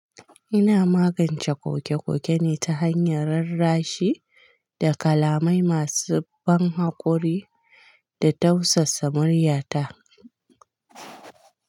Ina magance kokekokene ta hanyar rarrashi da kalamai masu ban hakuri da tausasa muryata.